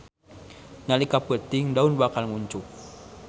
Nalika peuting daun bakal nguncup.